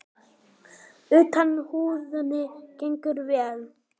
Utan húðunin gengur vel.